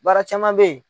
Baara caman bɛ ye